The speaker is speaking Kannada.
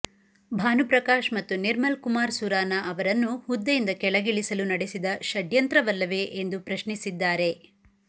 ಭಾನುಪ್ರಕಾಶ್ ಮತ್ತು ನಿರ್ಮಲ್ ಕುಮಾರ್ ಸುರಾನಾ ಅವರನ್ನು ಹುದ್ದೆಯಿಂದ ಕೆಳಗಿಳಿಸಲು ನಡೆಸಿದ ಷಡ್ಯಂತ್ರವಲ್ಲವೇ ಎಂದು ಪ್ರಶ್ನಿಸಿದ್ದಾರೆ